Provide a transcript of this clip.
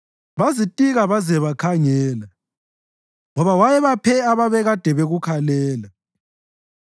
Bazitika baze bakhangela, ngoba wayebaphe ababekade bekukhalela.